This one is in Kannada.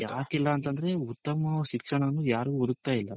ಯಾಕಿಲ್ಲ ಅಂತಂದ್ರೆ ಉತ್ತಮವಾದ ಶಿಕ್ಷಣವನ್ನು ಯಾರು ಹುಡುಕ್ತಾ ಇಲ್ಲ.